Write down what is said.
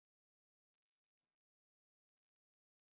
Þeir voru ekki mínir.